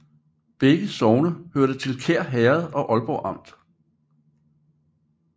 Begge sogne hørte til Kær Herred i Aalborg Amt